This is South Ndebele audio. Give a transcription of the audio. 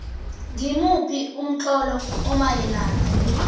ngimuphi umtlolo omayelana